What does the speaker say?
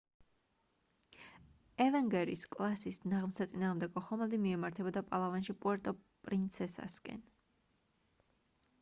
avenger -ის კლასის ნაღმსაწინააღმდეგო ხომალდი მიემართებოდა პალავანში პუერტო პრინსესასკენ